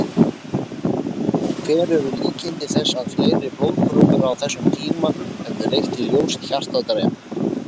Hver eru líkindi þess að fleiri blóðprufur á þessum tíma hefðu leitt í ljós hjartadrep?